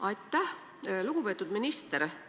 Aitäh, lugupeetud minister!